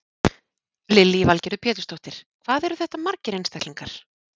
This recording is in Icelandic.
Lillý Valgerður Pétursdóttir: Hvað eru þetta margir einstaklingar?